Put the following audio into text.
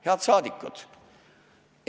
Head saadikud!